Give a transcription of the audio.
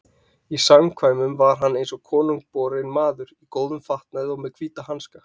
Í samkvæmum var hann eins og konungborinn maður, í góðum fatnaði og með hvíta hanska.